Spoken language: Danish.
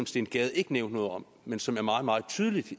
steen gade ikke nævnte noget om men som er meget meget tydeligt